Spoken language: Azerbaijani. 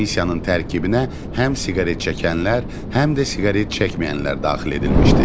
Komissiyanın tərkibinə həm siqaret çəkənlər, həm də siqaret çəkməyənlər daxil edilmişdi.